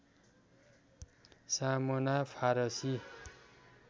सामना फारसी